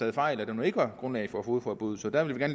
en fejl og der ikke var grundlag for fogedforbuddet så der vil vi